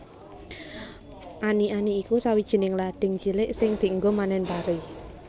Ani ani iku sawijining lading cilik sing dienggo manen pari